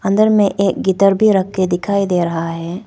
अंदर में एक गिटार भी रखे दिखाई दे रहा है।